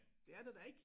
Det er der da ikke